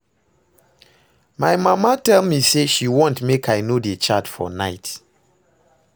My mama tell me say she wan make I no dey chat for night